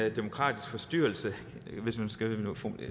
en demokratisk forstyrrelse hvis man skal